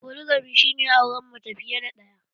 Foligami shi ne auren mace fiye da ɗaya